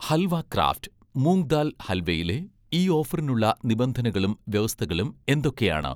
Halwa craft' moong dal ഹൽവയിലെ, ഈ ഓഫറിനുള്ള നിബന്ധനകളും വ്യവസ്ഥകളും എന്തൊക്കെയാണ്?